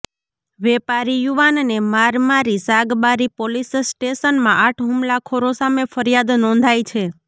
વેપારી યુવાનને માર મારી સાગબારી પોલીસ સ્ટેશનમાં આઠ હુમલાખોરો સામે ફરિયાદ નોંધાઇ છે